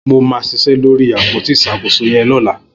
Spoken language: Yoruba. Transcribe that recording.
Mó mà ṣiṣẹ lóri ápótí iṣákósó yẹn lọ̀lá